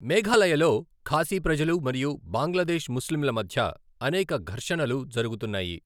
మేఘాలయలో ఖాసీ ప్రజలు మరియు బంగ్లాదేశ్ ముస్లింల మధ్య అనేక ఘర్షణలు జరుగుతున్నాయి.